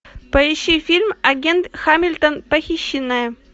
поищи фильм агент хамилтон похищенная